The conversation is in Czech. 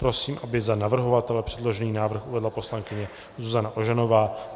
Prosím, aby za navrhovatele předložený návrh uvedla poslankyně Zuzana Ožanová.